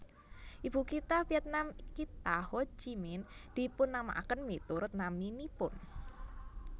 Ibukitha Vietnam kitha Ho Chi Minh dipunnamèaken miturut naminipun